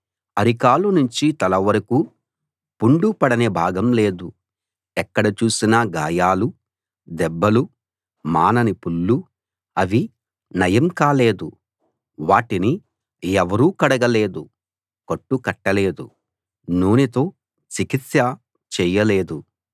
అరి కాలు నుంచి తల వరకు పుండు పడని భాగం లేదు ఎక్కడ చూసినా గాయాలు దెబ్బలు మానని పుళ్ళు అవి నయం కాలేదు వాటిని ఎవరూ కడగలేదు కట్టు కట్టలేదు నూనెతో చికిత్స చెయ్యలేదు